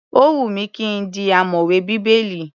Ó wù mí ki n di ọ̀mọ̀wè Bíbélì.